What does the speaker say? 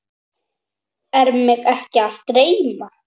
Er mig ekki að dreyma?